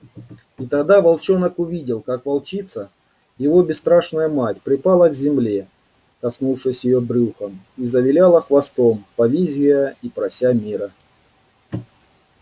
и тогда волчонок увидел как волчица его бесстрашная мать припала к земле коснувшись её брюхом и завиляла хвостом повизгивая и прося мира